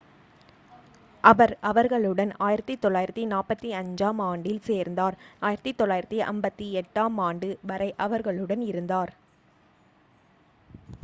அவர் அவர்களுடன் 1945-ஆம் ஆண்டில் சேர்ந்தார் 1958-ஆம் ஆண்டு வரை அவர்களுடன் இருந்தார்